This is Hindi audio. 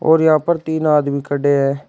और यहां पर तीन आदमी खड़े हैं।